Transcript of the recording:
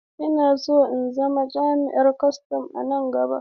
Ina so in zama jami'in kwastan nan gaba.